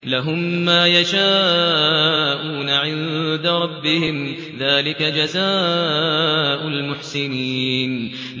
لَهُم مَّا يَشَاءُونَ عِندَ رَبِّهِمْ ۚ ذَٰلِكَ جَزَاءُ الْمُحْسِنِينَ